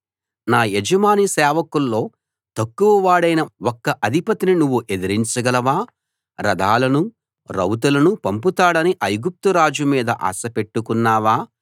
నా యజమాని సేవకుల్లో తక్కువ వాడైన ఒక్క అధిపతిని నువ్వు ఎదిరించగలవా రథాలను రౌతులను పంపుతాడని ఐగుప్తురాజు మీద ఆశ పెట్టుకున్నావా